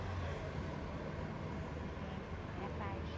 É, então, era pajem.